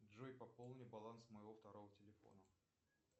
джой пополни баланс моего второго телефона